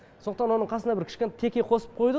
сондықтан оның қасына бір кішкене теке қосып қойдық